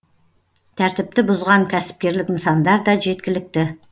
тәртіпті бұзған кәсіпкерлік нысандар да жеткілікті